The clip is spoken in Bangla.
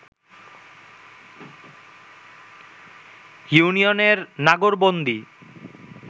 ইউনিয়নের নাগরবন্দী